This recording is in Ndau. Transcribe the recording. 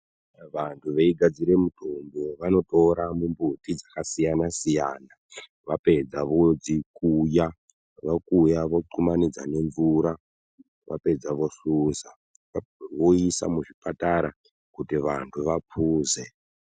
Vantu veigadzira mitombo vanotora mimbuti dzakasiyana siyana vapedza vodzikuya vapedza vogumanidza nemvura vapedza vohluza voisa muzvipatara kuti vantu vapuze.